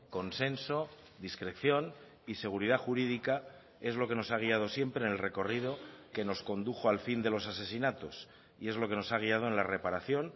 consenso discreción y seguridad jurídica es lo que nos ha guiado siempre en el recorrido que nos condujo al fin de los asesinatos y es lo que nos ha guiado en la reparación